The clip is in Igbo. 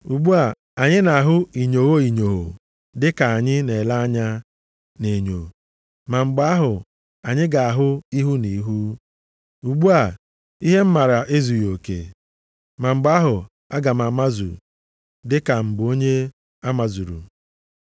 Ugbu a, anyị na-ahụ inyogho inyogho dịka anyị na-ele anya nʼenyo ma mgbe ahụ anyị ga-ahụ ihu na ihu. Ugbu a, ihe m mara ezughị oke, ma mgbe ahụ aga m amazu, dịka m bụ onye a mazuru.